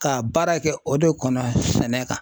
Ka baara kɛ o de kɔnɔ sɛnɛ kan.